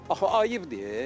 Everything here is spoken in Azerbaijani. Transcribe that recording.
Axı ayıbdır ey.